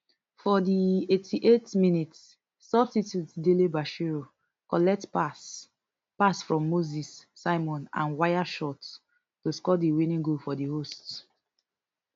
for di eighty-eight minutes substitute dele bashiru collect pass pass from moses simon and waya shot to score di winning goal for di host